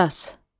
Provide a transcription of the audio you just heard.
Qisas.